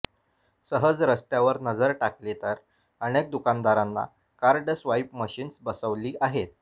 सहज रस्त्यावर नजर टाकली तर अनेक दुकानदारांना कार्ड स्वाइप मशीन्स बसवली आहेत